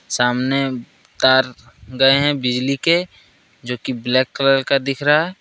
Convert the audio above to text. सामने तार गए हैं बिजली के जो की ब्लैक कलर का दिख रहा है।